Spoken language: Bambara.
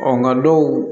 nka dɔw